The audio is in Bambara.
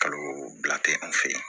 Kalo bila tɛ an fɛ yen